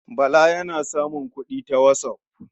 Bala yana samun kuɗi ta whatsApp.